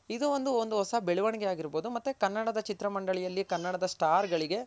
ಇದು ಒಂದು ಹೊಸ ಬೆಳವಣಿಗೆ ಆಗಿರ್ಬೋದು ಮತ್ತೆ ಮತ್ತೆ ಕನ್ನಡದ ಚಿತ್ರ ಮಂದಿರಗಳಲ್ಲಿ ಕನ್ನಡದ star ಗಳಿಗೆ